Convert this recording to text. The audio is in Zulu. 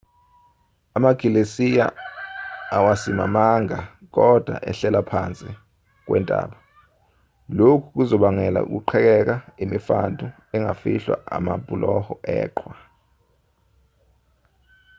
amagilesiya awasimamanga kodwa ehlela phansi kwentaba lokhu kuzobangela ukuqhekeka imifantu engafihlwa amabhuloho eqhwa